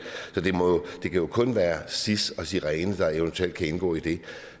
kan jo kun være sis og sirene der eventuelt kan indgå i det